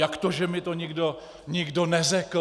Jak to, že mi to nikdo neřekl?